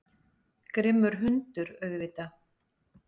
Grimmur hundur, auðvitað.